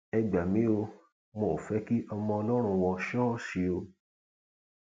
ẹ gbà mí o wọn ò fẹ kí ọmọ ọlọrun wọ ṣọọṣì o